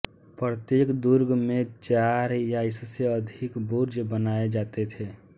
प्रत्येक दुर्ग में चार या इससे अधिक बुर्ज बनाए जाते थे